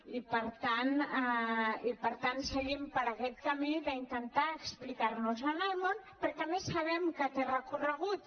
i per tant seguim per aquest camí d’intentar explicar·nos al món perquè a més sabem que té recorregut